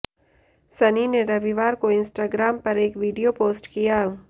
सनी ने रविवार को इंस्टाग्राम पर एक वीडियो पोस्ट किया